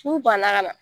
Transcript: N'u banna ka na